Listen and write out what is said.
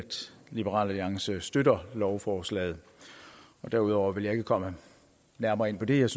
liberal alliance selvfølgelig støtter lovforslaget derudover vil jeg ikke komme nærmere ind på det jeg